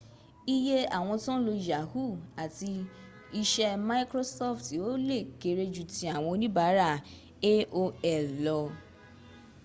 iye àwọn tón lo yahu àti iṣẹ́ mikrosofti ò lè kere jú tí àwọn onibaara aol lọ